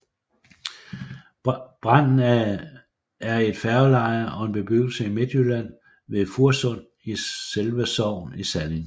Branden er et færgeleje og en bebyggelse i Midtjylland ved Fursund i Selde Sogn i Salling